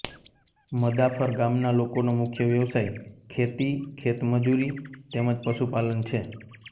મદાફર ગામના લોકોનો મુખ્ય વ્યવસાય ખેતી ખેતમજૂરી તેમ જ પશુપાલન છે